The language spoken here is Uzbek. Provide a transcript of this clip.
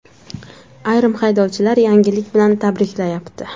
Ayrim haydovchilar yangilik bilan tabriklayapti.